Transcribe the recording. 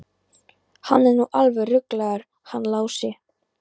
Hann er nú alveg ruglaður hann Lási.